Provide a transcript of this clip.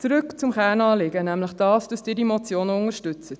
Zurück zum Kernanliegen, nämlich das, dass Sie die Motion unterstützen.